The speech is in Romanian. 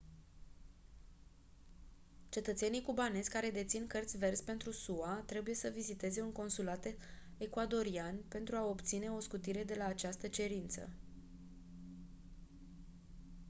cetățenii cubanezi care dețin cărți verzi pentru sua trebuie să viziteze un consulat ecuadorian pentru a obține o scutire de la această cerință